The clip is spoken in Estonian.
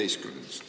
Üheteistkümnendast.